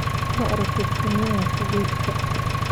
Ma aragtay sunniyaha qubeyska?